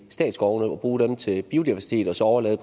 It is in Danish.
statsskovene og bruge dem til biodiversitet og så overlade